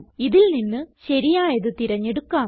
ഇതിൽ നിന്ന് ശരിയായത് തിരഞ്ഞെടുക്കാം